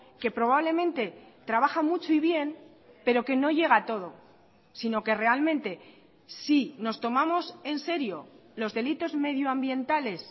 que probablemente trabaja mucho y bien pero que no llega a todo sino que realmente si nos tomamos en serio los delitos medioambientales